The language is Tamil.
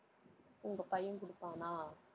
உங்க பையன் குடுப்பானா?